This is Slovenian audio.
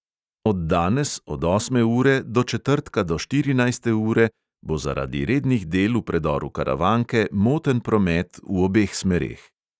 Od danes od osme ure do četrtka do štirinajste ure bo zaradi rednih del v predoru karavanke moten promet v obeh smereh.